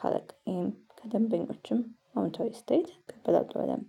ካለቃዬም ከደንበኞችም አውንታዊ አስተያዬት እበላለሁ በደብ።